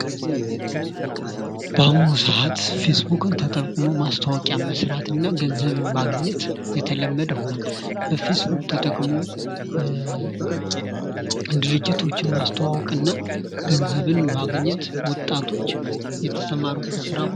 በአሁኑ ሰዓት ፌስቡክን ተጠቅሞ ማስታወቂያ መስራት እና ገንዘብን ማግኘት የተለመደ ሆኗል ። በፌስቡክ ተጠቅሞ ድርጅቶችን ማስተዋወቅ እና ገንዘብን ማግኘት ወጣቶች የተሰማሩበት ስራ ነው ።